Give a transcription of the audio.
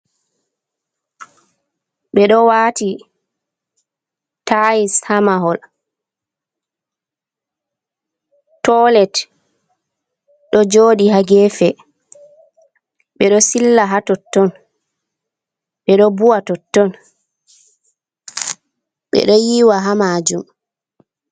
Ɓe ɗo wati tai’s ha mahol, tolet ɗo joɗi ha gefe, ɓeɗo silla ha totton, beɗo bu'a ha totton, ɓeɗo yiwa ha majum.